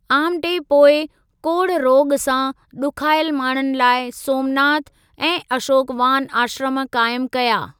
आमटे पोइ कोढ़ु रोॻ सां ॾुखायल माण्हुनि लाइ 'सोमनाथ' ऐं 'अशोकवान' आश्रम क़ायम कया।